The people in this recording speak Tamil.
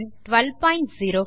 1204